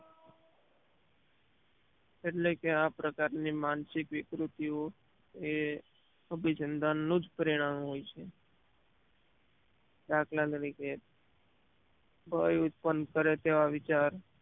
એટલે કે આ પ્રકાર ની માનસીક વિકૃતીયો એ અભિસંધાનનું જ પ્રેનાનું હોય છે દાખલા તરીકે ભય ઉત્પન કરે તેવા વિચાર